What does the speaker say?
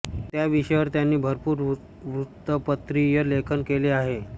त्या विषयावर त्यांनी भरपूर वृत्तपत्रीय लेखन केले आहे